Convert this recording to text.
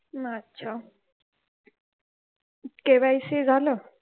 हा अच्छा KYC झालं